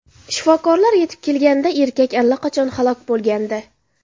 Shifokorlar yetib kelganida erkak allaqachon halok bo‘lgandi.